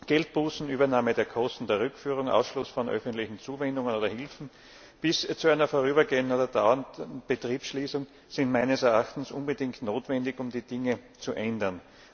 Geldbußen, Übernahme der Kosten der Rückführung, Ausschluss von öffentlichen Zuwendungen oder Hilfen bis hin zu einer vorübergehenden oder dauernden Betriebsschließung sind meines Erachtens unbedingt notwendig, um die Dinge zu ändern.